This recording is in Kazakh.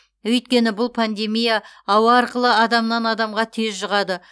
өйткені бұл пандемия ауа арқылы адамнан адамға тез жұғады